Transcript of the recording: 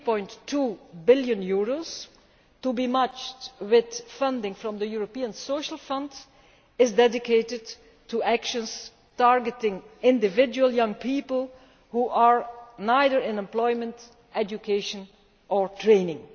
3.2 billion, to be matched with funding from the European Social Fund, is dedicated to actions targeting individual young people who are neither in employment, education or training.